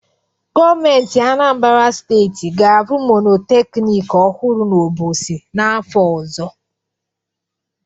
Gọọmentị Anambara Steeti ga-arụ monoteknik ọhụrụ n'Obosi n'afọ ọzọ.